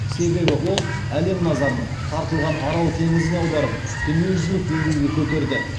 себебі ол әлем назарын тартылған арал теңізіне аударып дүниежүзілік деңгейге көтерді